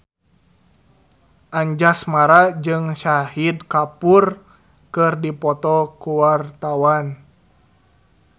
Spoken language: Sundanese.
Anjasmara jeung Shahid Kapoor keur dipoto ku wartawan